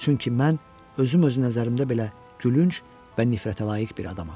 Çünki mən özüm öz nəzərimdə belə gülünc və nifrətə layiq bir adamam.